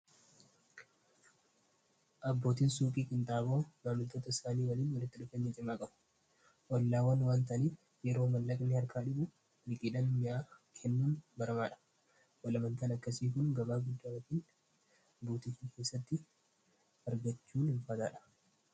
abbootiin suuphii qinxaaboo maamlitoota isaanii waliin walitti 2 cimaa qabu wallaawwan waantanii yeroo mallaqni harkaa dhibu iliqiidhan mi'aa kennuun barmaadha walamaltal akkasii kun gabaa guddaaatiin buutiii keessatti argachuun hinfaataadha